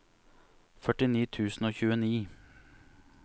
førtini tusen og tjueni